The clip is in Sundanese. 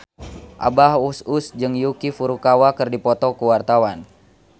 Abah Us Us jeung Yuki Furukawa keur dipoto ku wartawan